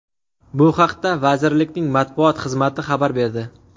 Bu haqda vazirlikning matbuot xizmati xabar berdi .